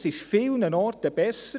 Es ist an vielen Orten besser;